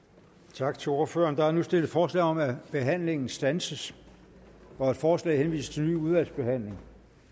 tak til ordføreren der er nu stillet forslag om at behandlingen standses og at forslaget henvises til fornyet udvalgsbehandling